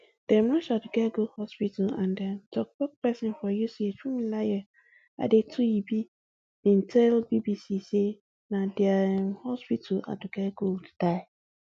dem rush aduke go hospital and um toktok pesin for uch funmilayo adetuyibi bin tell bbc say na dia um hospital aduke gold die